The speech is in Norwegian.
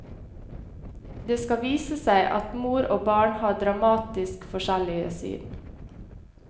Det skal vise seg at mor og barn har dramatisk forskjellige syn.